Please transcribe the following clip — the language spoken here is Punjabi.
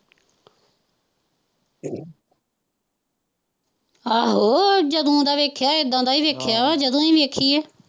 ਆਹੋ ਜਦੋਂ ਦਾ ਵੇਖਿਆ ਏਦਾ ਦਾ ਹੀ ਵੇਖਿਆ ਜਦੋਂ ਵੀ ਵੇਖੀਏ।